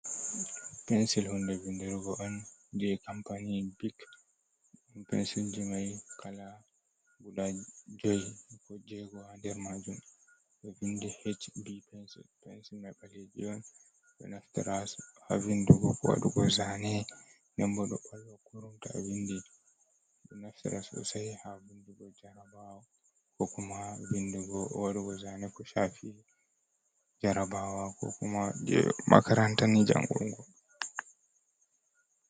Pensil hunde vindurugo on je kampany bik pensil ji mai kala guda jui ko jego ha nder majum ɗo vindi h b pensil, pensil mai ɓaleje ɓeɗo naftira ha vindugo ko waɗugo zane, den ɓo ɗo ɓalwa kurum to a vindi ɗo naftira sosai ha bindugo jarabawa ko kuma vindugo wadugo zane ko shafi jarabawa ko kuma je makarantani jangungo.